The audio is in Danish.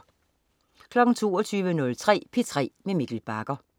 22.03 P3 med Mikkel Bagger